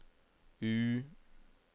U